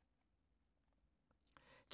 12:05: